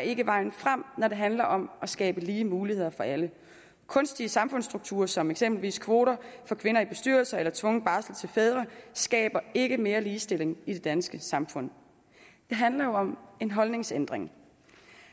ikke er vejen frem når det handler om at skabe lige muligheder for alle kunstige samfundsstrukturer som eksempelvis kvoter for kvinder i bestyrelser eller tvungen barsel til fædre skaber ikke mere ligestilling i det danske samfund det handler jo om en holdningsændring